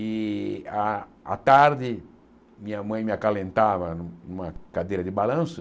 E, à à tarde, minha mãe me acalentava numa cadeira de balanço.